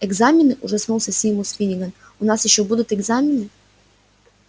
экзамены ужаснулся симус финниган у нас ещё будут экзамены